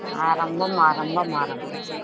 ஆரம்பம் ஆரம்பம் ஆரம்பம்